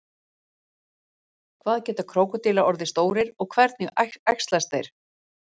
Hvað geta krókódílar orðið stórir og hvernig æxlast þeir?